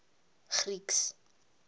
greeks